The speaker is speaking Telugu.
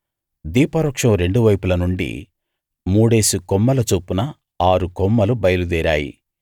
దీపవృక్షం రెండు వైపుల నుండి మూడేసి కొమ్మల చొప్పున ఆరు కొమ్మలు బయలుదేరాయి